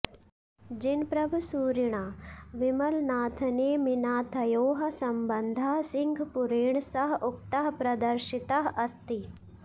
जिनप्रभसूरिणा विमलनाथनेमिनाथयोः सम्बन्धः सिंहपुरेण सह उक्तः प्रदर्शितः अस्ति